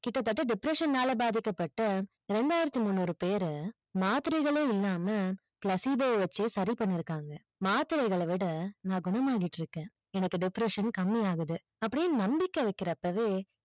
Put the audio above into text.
கிட்ட தட்ட depression ல பாதிக்கப்பட்ட ரெண்டாயிரத்தி முன்னூறு பேர மாத்திரைகளே இல்லாம placebo வச்சே சரி பண்ணிருக்காங்க மாத்திரைகளவிட நா குணமாகிடிருக்கிரன் எனக்கு depression கம்மியாகுது அப்டின்னு நம்பிக்கை வைக்குறப்போவே